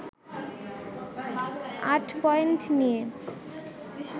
৮ point নিয়ে